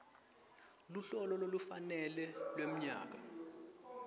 luhlolo lolufanele lwemnyaka